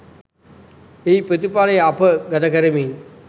එහි ප්‍රතිඵලය අප ගතකරමින්